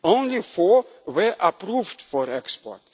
of establishments. Only four were